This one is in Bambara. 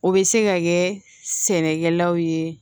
O bɛ se ka kɛ sɛnɛkɛlaw ye